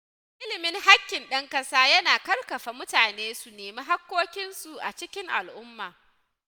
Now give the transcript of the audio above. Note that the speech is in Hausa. Ilimin haƙƙin ɗan ƙasa yana ƙarfafa mutane su nemi hakkokinsu a cikin al’umma.